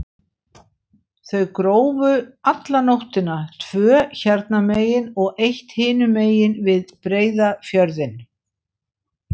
Þau grófu alla nóttina, tvö hérna megin og eitt hinum megin, við Breiðafjörðinn.